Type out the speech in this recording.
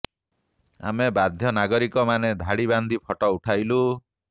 ଆମେ ବାଧ୍ୟ ନାଗରିକ ମାନେ ଧାଡି ବାନ୍ଧି ଫୋଟୋ ଉଠାଇଲୁ